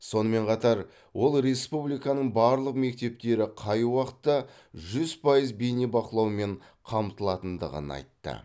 сонымен қатар ол республиканың барлық мектептері қай уақытта жүз пайыз бейнебақылаумен қамтылатындығын айтты